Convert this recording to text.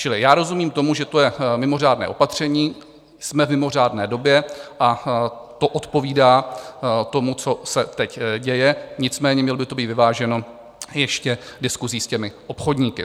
Čili já rozumím tomu, že je to mimořádné opatření - jsme v mimořádné době a to odpovídá tomu, co se teď děje, nicméně mělo by to být vyváženo ještě diskusí s těmi obchodníky.